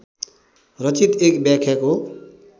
रचित एक व्याख्याको